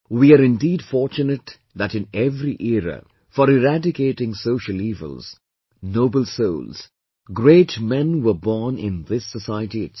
We are indeed fortunate that in every era, for eradicating social evils, noble souls, great men were born in this society itself